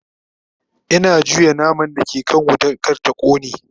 Ina juya naman da ke kan wuta kar ta kone